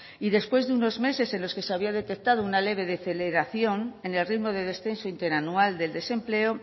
y después de unos meses en los que se había detectado una leve deceleración en el ritmo de descenso interanual del desempleo